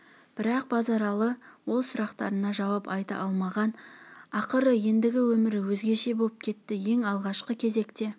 бірақ базаралы ол сұрақтарына жауап айта алмаған ақыры ендігі өмір өзгеше боп кетті ең алғашқы кезекте